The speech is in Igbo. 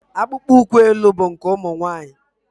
Akpụkpọ ụkwụ elu bụ nke ụmụ nwaanyị.